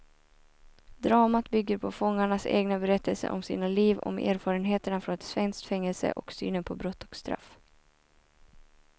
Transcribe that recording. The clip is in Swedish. Dramat bygger på fångarnas egna berättelser om sina liv, om erfarenheterna från ett svenskt fängelse och synen på brott och straff.